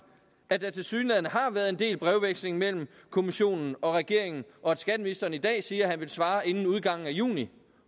at der tilsyneladende har været en del brevveksling mellem kommissionen og regeringen og at skatteministeren i dag siger at han vil svare inden udgangen af juni